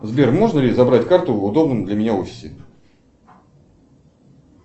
сбер можно ли забрать карту в удобном для меня офисе